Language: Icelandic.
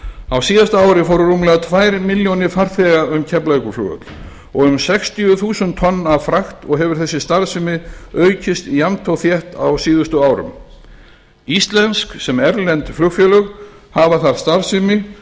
á síðasta ári fóru rúmlega tvær milljónir farþega um keflavíkurflugvöll og um sextíu þúsund tonn af frakt og hefur þessi starfsemi aukist jafnt og þétt síðustu árin íslensk sem erlend flugfélög hafa þar starfsemi